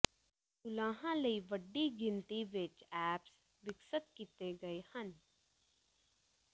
ਮਲਾਹਾਂ ਲਈ ਵੱਡੀ ਗਿਣਤੀ ਵਿੱਚ ਐਪਸ ਵਿਕਸਤ ਕੀਤੇ ਗਏ ਹਨ